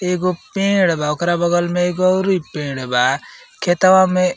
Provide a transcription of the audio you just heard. एगो पेड़ बा। ओकरा बगल में एगो ओरी पेड़ बा। खेतवा में --